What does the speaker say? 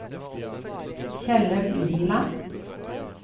Kjellaug Liland